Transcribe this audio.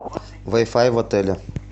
вай фай в отеле